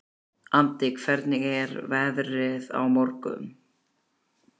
Addi, hvernig er veðrið á morgun?